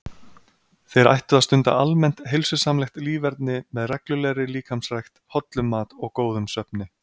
Þeir ættu að stunda almennt heilsusamlegt líferni með reglulegri líkamsrækt, hollum mat og góðum svefni.